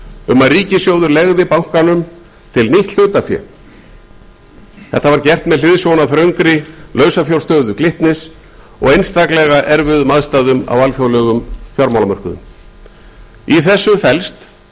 um að ríkissjóður legði bankanum til nýtt hlutafé þetta var gert með hliðsjón af þröngri lausafjárstöðu glitnis og einstaklega erfiðum aðstæðum á alþjóðlegum fjármálamörkuðum í þessu felst